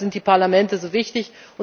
Deshalb sind die Parlamente so wichtig.